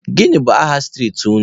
Gịnị bụ aha street unu?